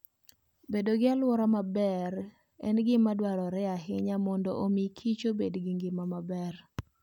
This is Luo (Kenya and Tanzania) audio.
Bedo gi alwora maber en gima dwarore ahinya mondo omi kich bedo gi ngima maber.